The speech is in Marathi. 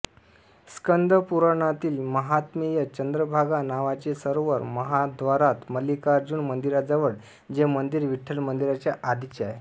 स्कंद पुराणातील माहात्मेय चंद्रभागा नावाचे सरोवर महाद्वारात मल्लिकार्जुन मंदिराजवळ जे मंदिर विठ्ठल मंदिराचे आधीचे आहे